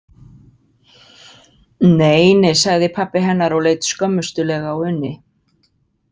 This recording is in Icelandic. Nei, nei, sagði pabbi hennar og leit skömmustulega á Unni.